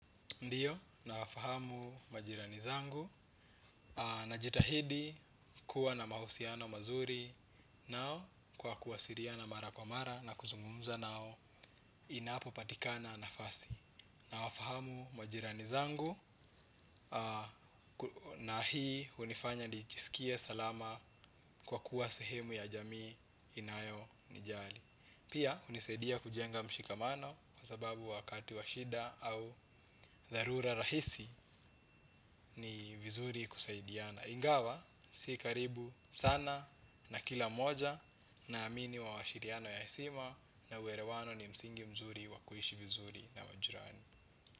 Ndiyo, nawafahamu majirani zangu, najitahidi kuwa na mahusiano mazuri nao kwa kuwasiliana mara kwa mara na kuzungumza nao inapopatikana nafasi. Nawafahamu majirani zangu, na hii hunifanya nijiskie salama kwa kuwa sehemu ya jamii inayonijali. Pia hunisaidia kujenga mshikamano kwa sababu wakati washida au dharura rahisi ni vizuri kusaidiana. Ingawa, si karibu sana na kila mmoja naamini wa washiriano ya hesima na uerewano ni msingi mzuri wa kuishi vizuri na wajirani.